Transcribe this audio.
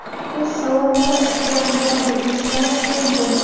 o‘z savollari bilan murojaat etishlari mumkin.